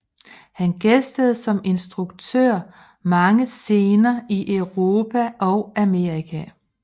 Han gæstede som instruktør mange scener i Europa og Amerika